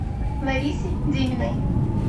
ларисе деминой